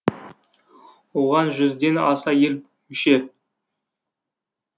оған жүзден аса ел мүше